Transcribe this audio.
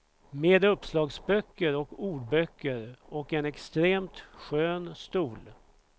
Med uppslagsböcker och ordböcker, och en extremt skön stol.